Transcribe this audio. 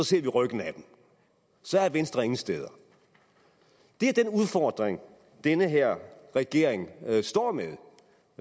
ser vi ryggen af dem så er venstre ingen steder det er den udfordring den her regering står med